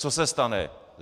Co se stane?